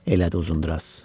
Elədi Uzundraz.